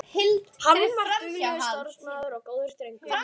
Hann var duglegur, starfsamur og góður drengur.